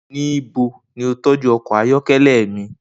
Nibo ni o tọju ọkọ ayọkẹlẹ mi?